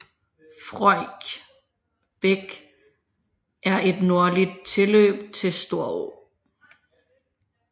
Frøjk Bæk er et nordligt tilløb til Storå